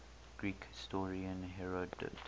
greek historian herodotus